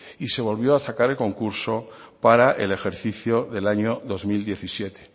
y se volvió a sacar en concurso para el ejercicio del año dos mil diecisiete